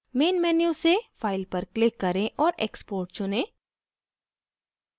main menu से file पर click करें और export चुनें